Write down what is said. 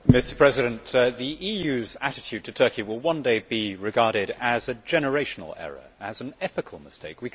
Mr President, the EU's attitude to Turkey will one day be regarded as a generational error, as an ethical mistake.